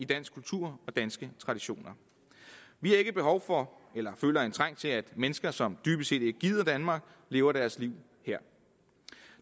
dansk kultur og danske traditioner vi har ikke behov for eller føler trang til at mennesker som dybest set ikke gider danmark lever deres liv her